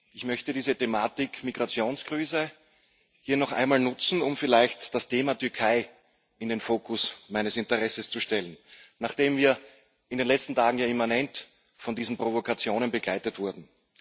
Ich möchte diese Thematik Migrationskrise hier noch einmal nutzen, um vielleicht das Thema Türkei in den Fokus meines Interesses zu stellen, nachdem wir in den letzten Tagen immanent von diesen Provokationen begleitet wurden.